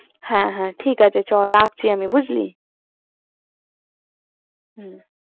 হ্যা হ্যা ঠিক আছে চল, রাখছি আমি বুঝলি